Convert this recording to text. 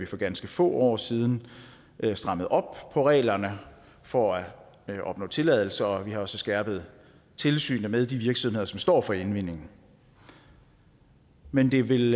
for ganske få år siden strammede op på reglerne for at opnå tilladelse og vi har jo så skærpet tilsynet med de virksomheder som står for indvindingen men det vil